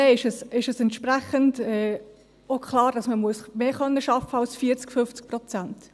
Dann ist es entsprechend auch klar, dass man mehr arbeiten können muss als 40, 50 Prozent.